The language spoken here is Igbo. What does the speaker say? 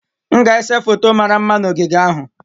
M ga-ese foto mara mma na ogige ahụ.